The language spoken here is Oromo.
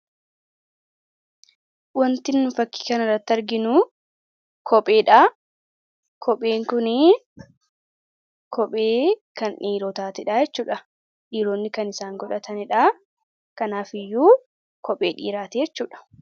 Wantin fakii kan irratti arginu kopheedha. Kopheen kunii kophee kan dhiirotaati. Kophee kana dhiiroonni kan isaan godhatanidha. Kanaaf iyyuu kophee dhiiraati jechuudha.